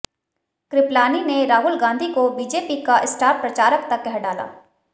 कृपलानी ने राहुल गांधी को बीजेपी का स्टार प्रचारक तक कह डाला